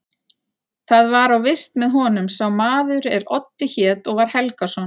Þar var á vist með honum sá maður er Oddi hét og var Helgason.